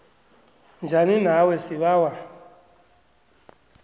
njani nawe sibawa